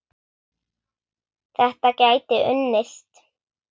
Þetta gæti unnist.